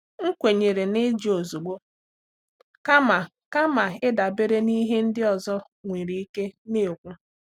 M kwenyere n’ịjụ ozugbo kama kama ịdabere n’ihe ndị ọzọ nwere ike na-ekwu.